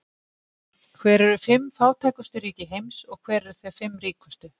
Hver eru fimm fátækustu ríki heims og hver eru þau fimm ríkustu?